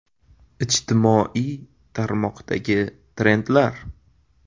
Ijtimoiy tarmoqdagi trendlar.